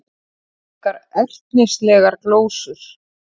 Engar ertnislegar glósur.